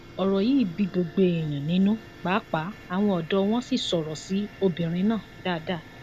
ọrọ yìí bí gbogbo èèyàn nínú páàpáà àwọn ọdọ wọn sì sọrọ sí obìnrin náà dáadáa